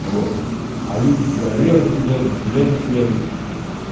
вот а люди туда лезут лезут лезут лезут